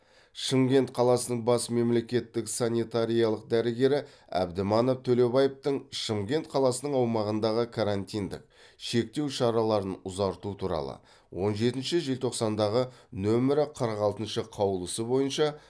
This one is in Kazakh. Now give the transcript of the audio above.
шымкент қаласының бас мемлекеттік санитариялық дәрігері әбдіманап төлебаевтың шымкент қаласының аумағындағы карантиндік шектеу шараларын ұзарту туралы он жетінші желтоқсандағы нөмірі қырық алтыншы қаулысы бойынша